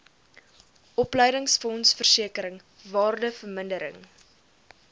opleidingsfonds versekering waardevermindering